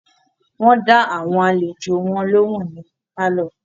Wọ́n dá àwọn àlejò wọn lóhùn ní pálọ̀.